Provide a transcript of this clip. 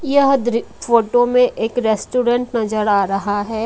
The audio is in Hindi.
यह दृ फोटो में एक रेस्टोरेंट नजर आ रहा है।